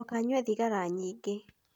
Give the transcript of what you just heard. Ndũkanyue thigara nyingĩ.